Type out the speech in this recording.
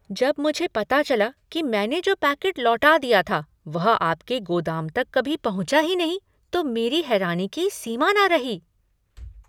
जब मुझे पता चला कि मैंने जो पैकेट लौटा दिया था, वह आपके गोदाम तक कभी पहुंचा ही नहीं, तो मेरी हैरानी की सीमा न रही।